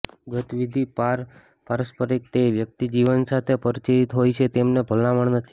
ગત વિધિ પારસ્પરિકતા તે વ્યક્તિ જીવન સાથે પરિચિત હોય છે તેમને ભલામણ નથી